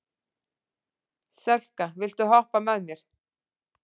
Selka, viltu hoppa með mér?